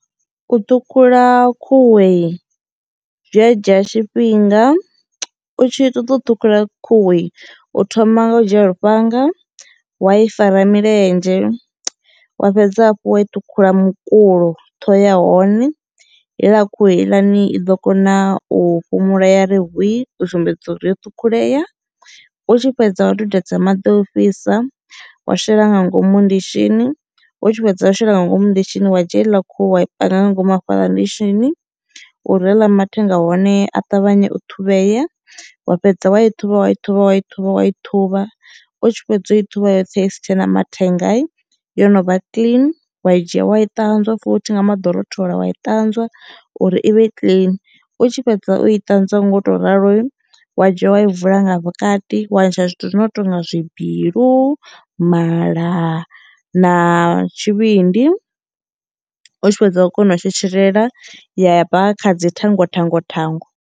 U ṱhukhula khuhui zwi a dzhia tshifhinga. U tshi ṱoḓa u ṱhukhula khuhui u thoma nga u dzhia lufhanga, wa i fara milenzhe, wa fhedza hafhu wa i ṱhukhula mukulo ṱhoho ya hone heiḽa khuhu heiḽani i ḓo kona u fhumula ya ri hwii u sumbedza uri yo ṱhukhulea u tshi fhedza wa dudedza maḓi ofhisa, wa shela nga ngomu ndishini u tshi fhedza u shela nga ngomu ndishini wa dzhia hedziḽa khuhu wa panga nga ngomu hafhaḽa ndishini uri haḽa mathenga a hone a ṱavhanye u ṱhuvhea, wa fhedza wa i thuvha wa i thuvha wa i thuvha wa i thuvha u tshi fhedza u i thuvha yoṱhe isi tshena mathenga i yo novha clean wa i dzhia wa i ṱanzwa futhi nga maḓi o rothola wa i ṱanzwa uri ivhe i clean u tshi fhedza u iṱanzwa nga u to ralo wa idzhiwa wa i vula nga vhukati wa ntsha zwithu zwi no tonga zwibilu, mala na tshivhindi u tshi fhedza wa kona u tshetshelela ya bva kha dzi thango thango thango.